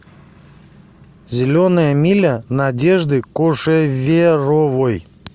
зеленая миля надежды кошеверовой